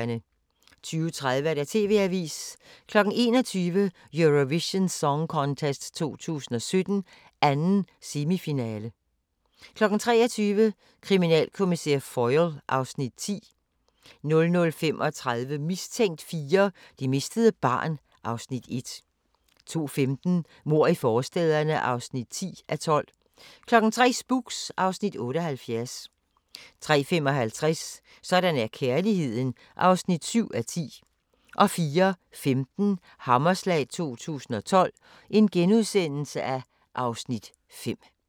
20:30: TV-avisen 21:00: Eurovision Song Contest 2017, 2. semifinale 23:00: Kriminalkommissær Foyle (Afs. 10) 00:35: Mistænkt 4: Det mistede barn (Afs. 1) 02:15: Mord i forstæderne (10:12) 03:00: Spooks (Afs. 78) 03:55: Sådan er kærligheden (7:10) 04:15: Hammerslag 2012 (Afs. 5)*